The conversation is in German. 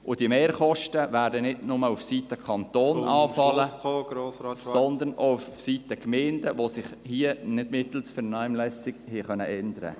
Und diese Mehrkosten werden nicht nur auf der Seite des Kantons anfallen, sondern auch auf der Seite der Gemeinden, die sich hier nicht mittels Vernehmlassung äussern konnten.